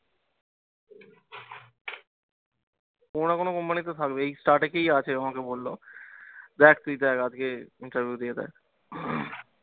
কোনও না কোনও company তে থাকবেই এই আছে আমাকে বললো, দেখ তুই দেখ আগে interview দিয়ে দেখ